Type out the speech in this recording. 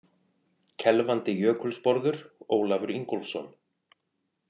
Kelfandi jökulsporður: Ólafur Ingólfsson.